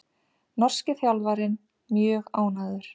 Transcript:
Norski þjálfarinn mjög ánægður